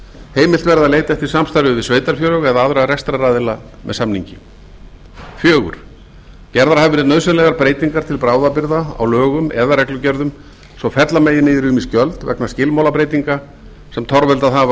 heimilt verði að leita eftir samstarfi við sveitarfélög eða aðra rekstraraðila með samningi fjórða gerðar hafa verið nauðsynlegar breytingar til bráðabirgða á lögum eða reglugerðum svo fella megi niður ýmis gjöld vegna skilmálabreytinga sem torveldað hafa